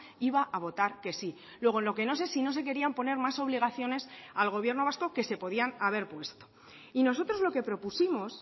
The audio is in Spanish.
iba a votar que sí luego en lo que no sé si no se querían poner más obligaciones al gobierno vasco que se podían haber puesto y nosotros lo que propusimos